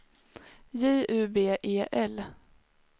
J U B E L